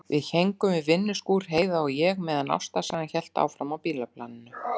Við héngum upp við vinnuskúr, Heiða og ég, meðan ástarsagan hélt áfram á bílaplaninu.